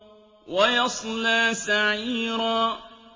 وَيَصْلَىٰ سَعِيرًا